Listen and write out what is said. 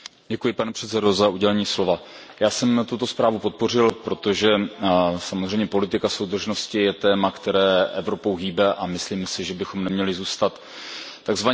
Pane předsedající, já jsem tuto zprávu podpořil, protože samozřejmě politika soudržnosti je téma, které Evropou hýbe, a myslím si, že bychom neměli zůstat tzv.